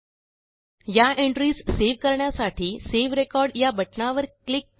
एलटीपॉजेग्ट या entriesसेव्ह करण्यासाठी सावे रेकॉर्ड या बटणावर क्लिक करा